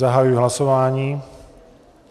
Zahajuji hlasování.